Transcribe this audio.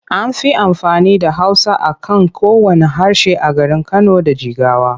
An fi amfani da Hausa a kan kowanne harshe a garin Kano da Jigawa.